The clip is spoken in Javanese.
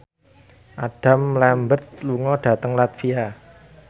Adam Lambert lunga dhateng latvia